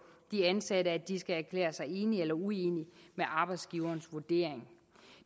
de ansatte at de skal erklære sig enige eller uenige i arbejdsgiverens vurdering